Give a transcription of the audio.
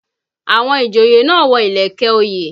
Àwọn ìjòyè náà wọ ìlẹ̀kẹ̀ òye